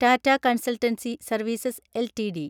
Tata Consultancy Services LTD